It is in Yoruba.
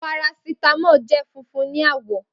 Parasítámọ̀ jẹ́ funfun ní àwọ̀